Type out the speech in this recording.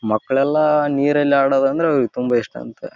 ನಾನು ನೋಡಿದ ಫೋಟೋ ಪ್ರಕಾರ ಈ ಫೋಟೋ ದಲ್ಲಿ ನೀವು ಒಂದು ಸ್ವಿಮ್ಮಿಂಗ್ ಫೂಲ್ ನೋಡಬಹುದು.